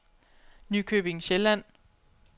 Nykøbing Sjælland